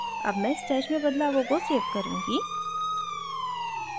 अब मैं stash में बदलावों को सेव करुँगी